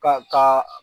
Ka ka